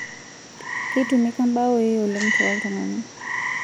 Keitumika mbaoi oleng' tooltung'ana